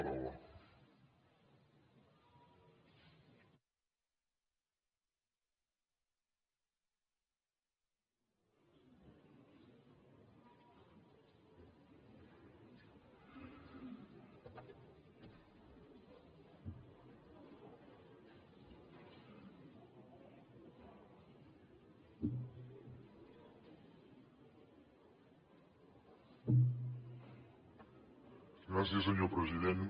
gràcies senyor president